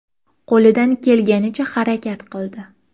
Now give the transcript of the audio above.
Qo‘lidan kelganicha harakat qildi.